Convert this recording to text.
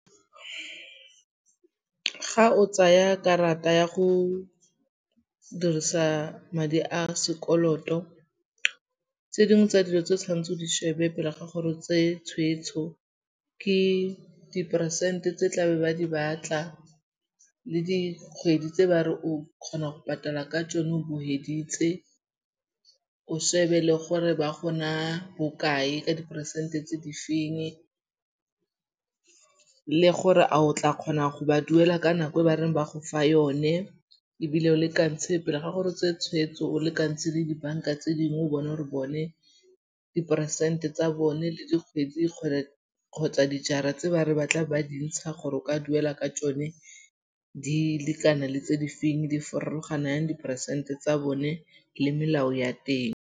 Ga o tsaya karata ya go dirisa madi a sekoloto, tse dingwe tsa dilo tse o tshwanetseng o di shebe pele ga gore o tsee tshweetso ke diperesente tse tla be ba di batla le dikgwedi tse ba re o kgona go patala ka tsone o bo feditse, o shebe le gore ba go naa bokae ka diperesente tse di feng le gore a o tla kgona go ba duela ka nako e ba reng ba go fa yone, ebile o lekantshe pele ga gore o tseye tshweetso, o lekantshe le dibanka tse dingwe o bone gore bone diperesente tsa bone le dikgwedi gore kgotsa dijara tse ba re ba tla be ba dintsha gore o ka duela ka tsone di lekana le tse di feng, di farologana jang diperesente tsa bone le melao ya teng.